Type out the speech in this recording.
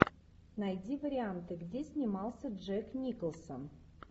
найди варианты где снимался джек николсон